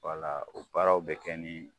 Wala o baaraw bɛ kɛ nin